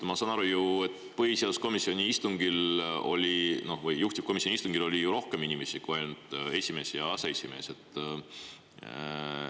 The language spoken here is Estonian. Ma saan aru, et põhiseaduskomisjoni või juhtivkomisjoni istungil oli rohkem inimesi kui ainult esimees ja aseesimees.